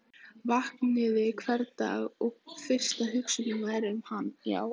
Vaknaði hvern dag og fyrsta hugsunin væri um hann.